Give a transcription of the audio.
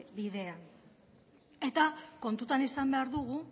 bidean